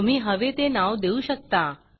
तुम्ही हवे ते नाव देऊ शकता